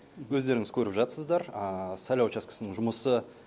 өздеріңіз көріп жатсыздар сайлау учаскесінің жұмысы